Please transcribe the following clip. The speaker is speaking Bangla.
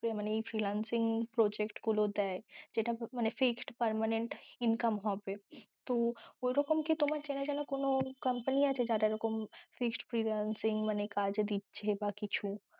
এই মানে fixed freelancing project গুলো দেয় যেটা মানে fixed permanent income হবে তো ঐরকম কি তোমার চেনা জানা কোনো company আছে যারা এরকম fixed freelancing মানে কাজ দিচ্ছে বা কিছু?